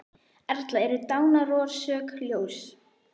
Erla: Eru dánarorsök ljós?